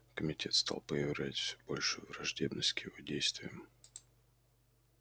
комитет стал проявлять всё большую враждебность к его действиям